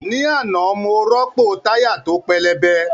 Ní àná, mo rọ́pò táyà tó pẹlẹbẹ